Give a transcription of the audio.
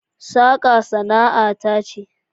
Saka sana'ar ta ne